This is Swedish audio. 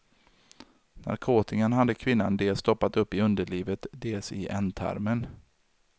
Narkotikan hade kvinnan dels stoppat upp i underlivet, dels i ändtarmen.